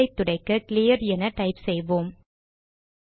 டெர்மினலை துடைக்க கிளியர் என டைப் செய்வோம்